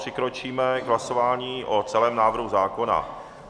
Přikročíme k hlasování o celém návrhu zákona.